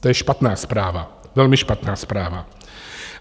To je špatná zpráva, velmi špatná zpráva.